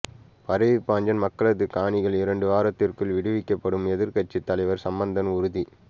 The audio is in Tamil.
பரவிப்பாஞ்சான் மக்களது காணிகள் இரண்டு வாரத்திற்குள் விடுவிக்கப்படும் எதிர்க்கட்சித் தலைவர் சம்பந்தன் உறுதி